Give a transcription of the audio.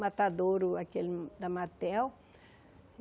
Matadouro, aquele da Matel.